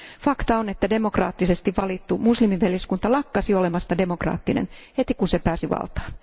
Fakta on, että demokraattisesti valittu muslimiveljeskunta lakkasi olemasta demokraattinen heti, kun se päästi valtaan.